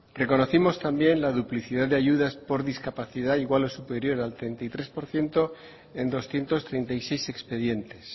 reconocimos también la duplicidad de ayudas por discapacidad igual o superior al treinta y tres por ciento en doscientos treinta y seis expedientes